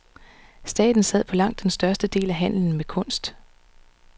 Staten sad på langt den største del af handlen med kunst.